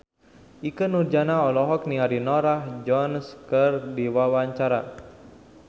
Ikke Nurjanah olohok ningali Norah Jones keur diwawancara